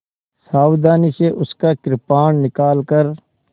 सावधानी से उसका कृपाण निकालकर